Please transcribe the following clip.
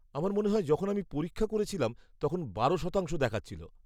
আমার মনে হয় যখন আমি পরীক্ষা করেছিলাম তখন বারো শতাংশ দেখাচ্ছিল।